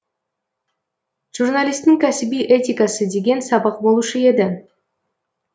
журналистің кәсіби этикасы деген сабақ болушы еді